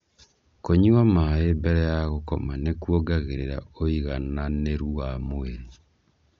Kũnywa maĩ mbele wa gũkoma nĩ kuongagĩrĩra ũigananĩru wa mwĩrĩ